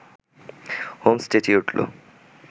Holmes চেঁচিয়ে উঠল